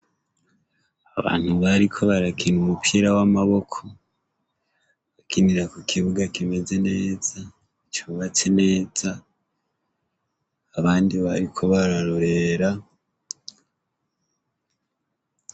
Abantu bariko barakina umupira w'amaboko bakinira ku kibuga kimeze neza cubatse neza abandi bariko bararorera.